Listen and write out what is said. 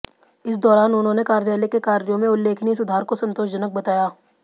इस दौरान उन्होंने कार्यालय के कार्यों में उल्लेखनीय सुधार को संतोषजनक बताया